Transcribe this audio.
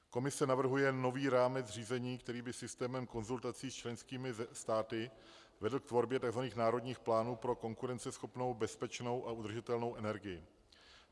Komise navrhuje nový rámec řízení, který by systémem konzultací s členskými státy vedl k tvorbě tzv. národních plánů pro konkurenceschopnou, bezpečnou a udržitelnou energii.